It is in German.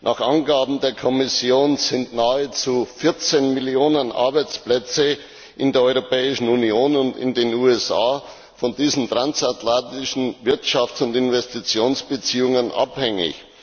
Nach Angaben der Kommission sind nahezu 14 Millionen Arbeitsplätze in der Europäischen Union und in den USA von diesen transatlantischen Wirtschafts und Investitionsbeziehungen abhängig.